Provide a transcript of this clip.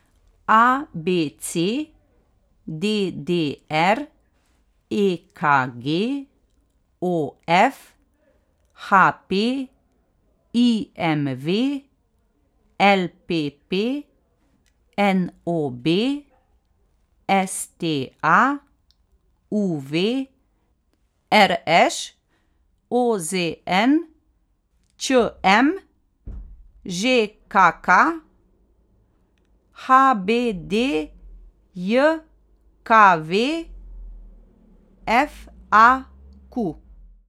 A B C; D D R; E K G; O F; H P; I M V; L P P; N O B; S T A; U V; R Š; O Z N; Č M; Ž K K; H B D J K V; F A Q.